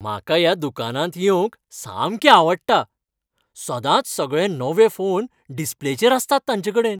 म्हाका ह्या दुकानांत येवंक सामकें आवडटा. सदांच सगळे नवे फोन डिस्प्लेचेर आसतात तांचेकडेन.